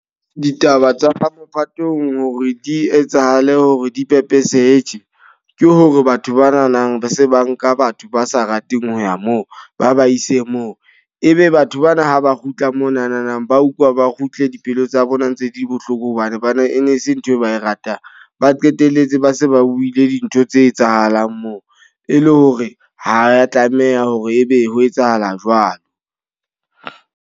Ditaba tsa mophatong hore di etsahale hore di pepesehe tje. Ke hore batho ba nanang be se ba nka batho ba sa rateng ho ya moo, ba ba ise moo. E be batho bana ha ba kgutla monanang, ba utlwa ba kgutla dipelo tsa bona ntse di le bohloko. Hobane ba ne e ne e se nthwe ba e ratang. Ba qetelletse ba se ba buile dintho tse etsahalang moo. E le hore ha ya tlameha hore ebe ho etsahala jwalo.